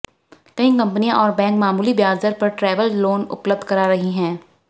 कई कंपनियां और बैंक मामूली ब्याज दर पर ट्रैवल लोन उपलब्ध करा रही हैं